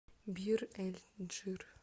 бир эль джир